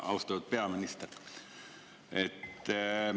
Austatud peaminister!